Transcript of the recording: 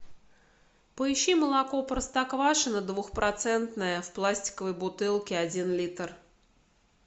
поищи молоко простоквашино двухпроцентное в пластиковой бутылке один литр